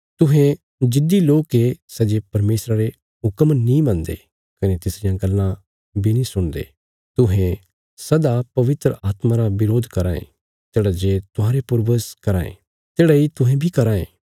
तुहें जिद्दी लोक ये सै जे परमेशरा रे हुक्म नीं मनदे कने तिसरियां गल्लां बी नीं सुणदे तुहें सदा पवित्र आत्मा रा बरोध कराँ ये तेढ़ा जे तुहांरे पूर्वज कराँ थे तेढ़ा इ तुहें बी कराँ ये